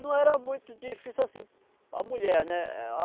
Não era muito difícil assim, a mulher, né?